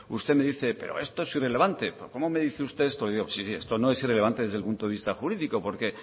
usted me dice pero esto es irrelevante pero cómo me dice usted esto sí esto no es irrelevante desde el punto de vista jurídico porque